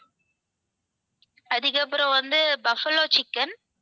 அதுக்கப்புறம் வந்து buffalo chicken